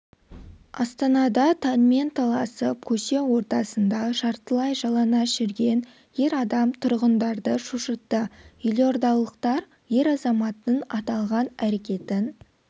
астанада таңмен таласып көше ортасында жартылай жалаңаш жүрген ер адам тұрғындарды шошытты елордалықтар ер-азаматтың аталған әрекетін